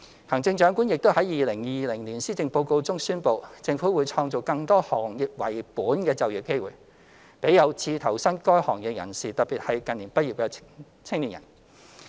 行政長官亦已在2020年施政報告中宣布，政府會創造更多行業為本的就業機會，給有志投身該行業的人士，特別是近年畢業的青年。